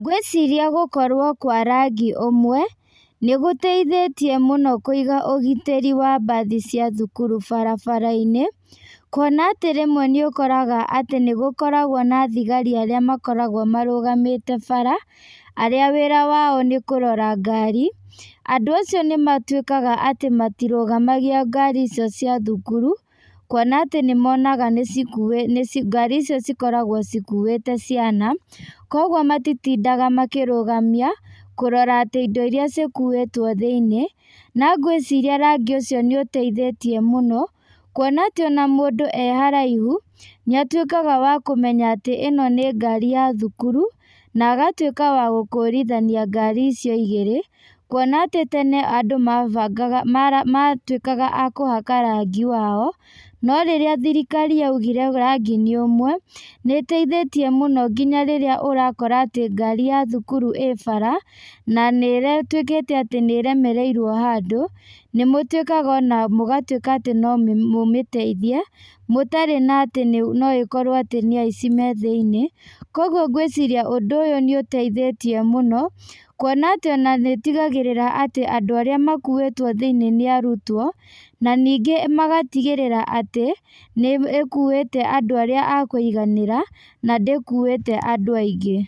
Ngwĩciria gũkorwo kwa rangi ũmwe, nĩgũteithĩtie mũno kũiga ũgitĩri wa mbathi cia thukuru barabarainĩ, kuona atĩ rĩmwe nĩũkoraga atĩ nĩgũkoragwo na thigari arĩa makoragwo marũgamĩte bara, arĩa wĩra wao nĩ kũrora ngari, andũ acio nĩmatuĩkaga atĩ matirũgamagia ngari icio cia cukuru, kuona atĩ nĩmonaga nĩcikuĩ nĩci ngari icio cikoragwo cikuĩte ciana, koguo matitindaga makĩrũgamia, kurora atĩ indo iria cikuĩtwo thĩinĩ, no ngwĩciria rangi ũcio nĩũteithĩtie mũno, kuona atĩ ona mũndũ e haraihu, nĩatuĩkaga wa kũmenya atĩ ĩno nĩ ngari ya thukuru, na agatuĩka wa gũkũrithania ngari icio igĩrĩ, kuona atĩ tene andũ mabanga mara ma matuĩkaga a kũhaka rangi wao, no rĩrĩa thirikari yaugire rangi nĩ ũmwe, nĩteithĩtie mũno ngiya rĩrĩa ũrakora atĩ ngari ya thukuru ĩ bara, na nĩ ĩtuĩkĩte atĩ nĩremereirwo handũ, nĩmũtuĩkaga ona mũgatuĩka atĩ no mũmĩteithie, mũtarĩ na atĩ no ĩkorwo atĩ nĩ aici me thĩinĩ, koguo ngwĩciria ũndũ ũyũ nĩ ũteithĩtie mũno, kuona atĩ ona nĩtigagĩrĩra andũ arĩa makuĩtwo thĩinĩ nĩ arutwo, na ningĩ magatigĩrĩra atĩ, nĩ ĩkuĩte andũ arĩa a kuiganĩra, na ndĩkuite andũ aingĩ.